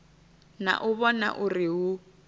na u vhona uri hu